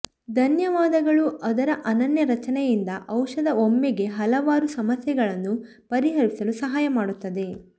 ಧನ್ಯವಾದಗಳು ಅದರ ಅನನ್ಯ ರಚನೆಯಿಂದ ಔಷಧ ಒಮ್ಮೆಗೇ ಹಲವಾರು ಸಮಸ್ಯೆಗಳನ್ನು ಪರಿಹರಿಸಲು ಸಹಾಯ ಮಾಡುತ್ತದೆ